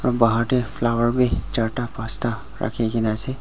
Bahar tey flower bhi chaarta pasta rakhi kena ase.